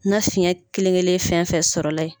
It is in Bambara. Na fiyɛn kelen kelen fɛn fɛn sɔrɔ la ye.